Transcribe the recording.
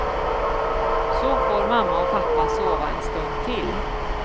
Så får mamma och pappa sova en stund till.